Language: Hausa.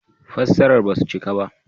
Fassarar ba su cika ba